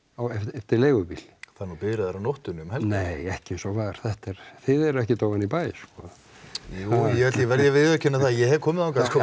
eftir leigubíl það er nú biðraðir á nóttunni um nei ekki eins og var þetta er þið eruð ekkert ofan í bæ sko jú ég verð að viðurkenna að ég hef komið þangað sko